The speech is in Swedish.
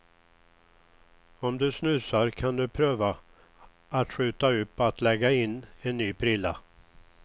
Om du snusar kan du pröva att skjuta upp att lägga in en ny prilla.